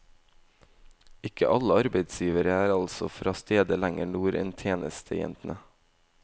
Ikke alle arbeidsgivere er altså fra steder lenger nord enn tjenestejentene.